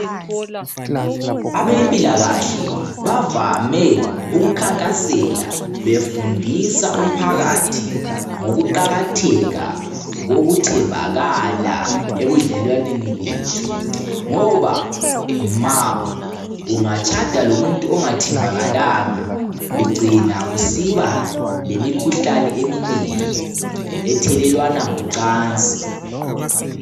Abempilakahle bavame ukukhankasela befundisa umphakathi ngokuqakatheka kokuthembakala ebudlelwaneni bethu ngoba ma ungatshada lomuntu ongathembakalanga ugcina usiba lemikhuhlane eminengi ethelelwana ngo cansi.